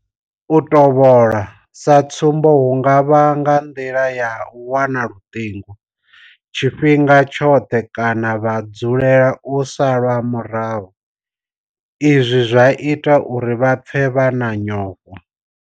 U tovhola, sa tsumbo hu nga vha nga nḓila ya u wana luṱingo tshifhinga tshoṱhe kana vha tshi dzulela u salwa murahu izwi zwa ita uri vha pfe vha na nyofho.